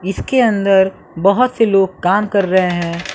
इसके अंदर बहोत से लोग काम कर रहे हैं।